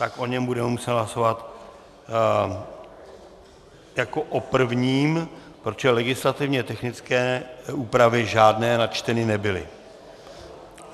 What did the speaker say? Tak o něm budeme muset hlasovat jako o prvním, protože legislativně technické úpravy žádné načteny nebyly.